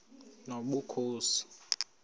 nobukhosi